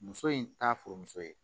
Muso in t'a furumuso ye